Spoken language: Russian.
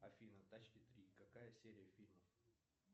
афина тачки три какая серия фильмов